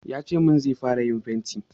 Ya ce min zai fara yin fenti.